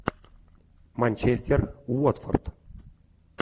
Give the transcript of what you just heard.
манчестер уотфорд